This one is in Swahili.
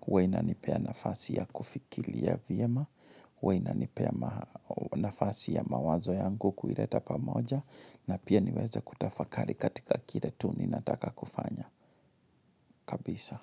huwa inanipea nafasi ya kufikiria vyema, hhuwa inanipea nafasi ya mawazo yangu kuileta pamoja, na pia niweze kutafakari katika kile tu ninataka kufanya. Kabisa.